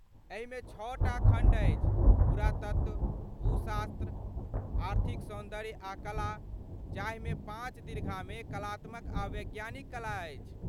एहिमे छओटा खण्ड अछि पुरातत्व, भूशास्त्र, आर्थिक सौन्दर्य आ कला, जाहिमे पाँच दीर्घामे कलात्मक आ वैज्ञानिक कला अछि।